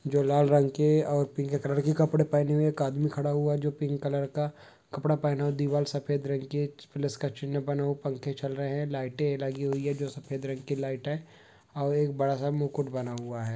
जो लाल रंग के और पिले कलर के कपड़े पहने हुए एक आदमी खड़ा हुआ। जो पिंक कलर का कपड़ा पहना हुआ है। दीवाल सफ़ेद रंग की है। प्लस का चिह्न बना हुआ है। पंखे चल रहे हैं लाइटे लगी हुई हैं जो सफ़ेद रंग की लाइट है। और एक बड़ा सा मुकुट बना हुआ है।